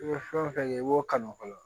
I bɛ fɛn o fɛn kɛ i b'o kanu fɔlɔ